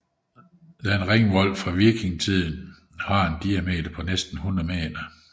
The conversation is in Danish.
Denne ringvold fra vikingetiden har en diameter på næsten 100 m